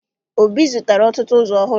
Obi zụtara ọtụtụ ụzọ ọhụrụ